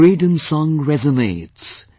The freedom song resonates